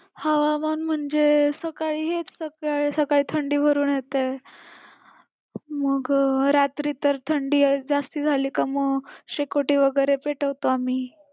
हवामान म्हणजे सकाळी हेच सकाळी सकाळी थंडी भरून येते. मग रात्री तर थंडी जास्ती झाली का मग शेकोटी वगैरे पेटवतो आम्ही.